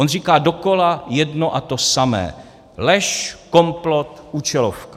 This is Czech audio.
On říká dokola jedno a to samé: lež, komplot, účelovka.